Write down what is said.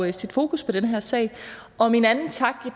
at sætte fokus på den her sag min anden tak